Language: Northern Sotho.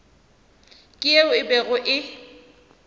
ke yeo e bego e